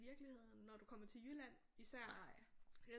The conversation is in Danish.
Virkeligheden når du kommer til jylland især